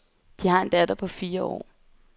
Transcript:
De har en datter på fire år.